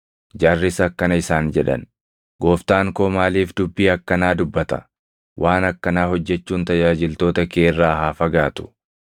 Jarris akkana isaan jedhan; “Gooftaan koo maaliif dubbii akkanaa dubbata? Waan akkanaa hojjechuun tajaajiltoota kee irraa haa fagaatu!